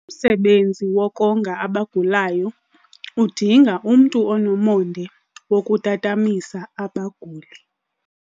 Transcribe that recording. Umsebenzi wokonga abagulayo udinga umntu onomonde wokutatamisa abaguli.